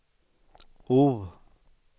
O